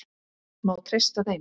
Má treysta þeim?